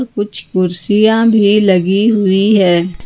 कुछ कुर्सियां भी लगी हुई है।